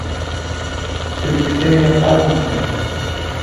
приключения паддингтона